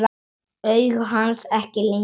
Augu hans ekki lengur rauð.